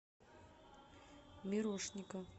мирошника